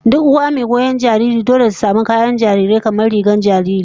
Duk uwa mai goyon jariri dole ta samu kayayyakin jariri, kamar rigar jariri